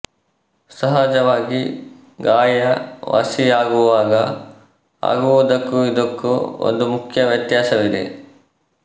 ಸಹಜವಾಗಿ ಗಾಯ ವಾಸಿಯಾಗುವಾಗ ಆಗುವುದಕ್ಕೂ ಇದಕ್ಕೂ ಒಂದು ಮುಖ್ಯ ವ್ಯತ್ಯಾಸವಿದೆ